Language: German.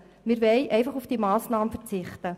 Wir wollen einfach auf diese Massnahme verzichten.